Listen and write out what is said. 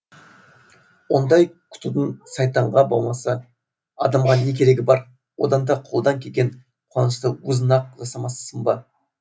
ондай күтудің сайтанға болмаса адамға не керегі бар одан да қолдан келген қуанышты өзің ақ жасамассың ба